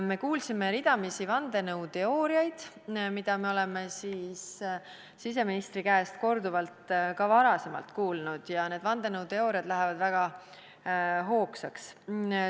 Me kuulsime ridamisi vandenõuteooriaid, mida me oleme siseministri käest korduvalt ka varem kuulnud, ja need vandenõuteooriad lähevad väga hoogsaks.